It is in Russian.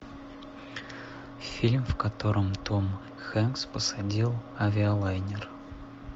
фильм в котором том хэнкс посадил авиалайнер